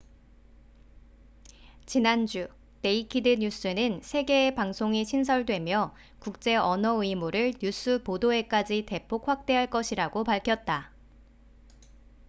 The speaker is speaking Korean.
지난주 네이키드 뉴스naked news는 세 개의 방송이 신설되며 국제 언어 의무를 뉴스 보도에까지 대폭 확대할 것이라고 밝혔다